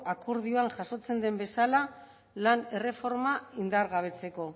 akordioan jasotzen den bezala lan erreforma indargabetzeko